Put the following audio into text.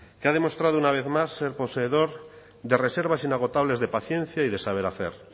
que ha demostrado una vez más ser poseedor de reservas inagotable de paciencia y de saber hacer